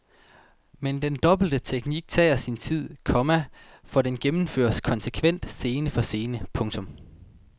Men den dobbelte teknik tager sin tid, komma for den gennemføres konsekvent scene for scene. punktum